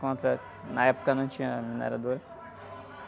Contra... Na época não tinha minerador.